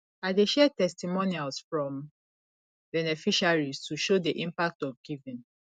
i dey share testimonials from beneficiaries to show the impact of giving